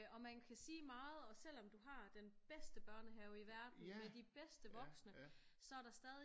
Og man kan sige meget og selvom du har den bedste børnehave i verden med de bedste voksne så der stadig